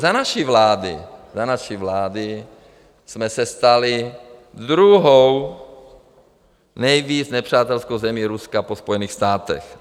Za naší vlády jsme se stali druhou nejvíc nepřátelskou zemí Ruska po Spojených státech.